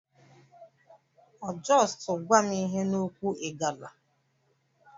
O justuu gwam ihe n'okwu Igala?